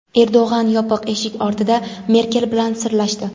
Erdo‘g‘an yopiq eshik ortida Merkel bilan "sirlashdi".